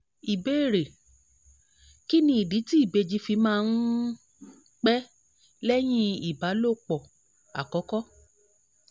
ìbéèrè: kí nìdí tí ìbejì fi máa um ń pẹ́ lẹ́yìn ìbálòpọ̀ àkọ́kọ́?